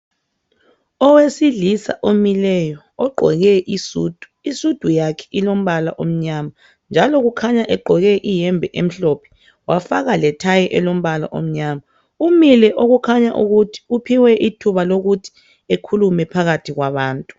Owesilisa omileyo ogqoke isudu isudu yakhe ilombala omnyama njalo kukhanya egqoke iyembe emhlophe wafaka lethayi elombala omnyama umile okukhanya ukuthi uphiwe ithuba lokuthi ekhulume phakathi kwabantu.